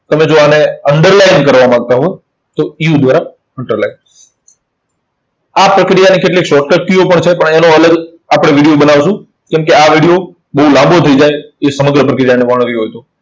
તમે જો આને underline કરવા માંગતા હોવ, તો U દ્વારા underline આ પ્રક્રિયાની કેટલીક shortcut કીઓ પણ છે, પણ એનો અલગ આપણે video બનાવશું. કેમ કે આ video બહુ લાંબો થઇ જાય, એ સમગ્ર પ્રક્રિયાને વર્ણવી હોય તો.